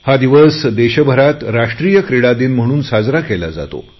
हा दिवस देशभरात राष्ट्रीय क्रीडा दिन म्हणून साजरा केला जातो